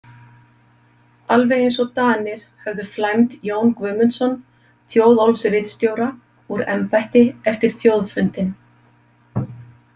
Alveg eins og Danir höfðu flæmt Jón Guðmundsson Þjóðólfsritstjóra úr embætti eftir þjóðfundinn.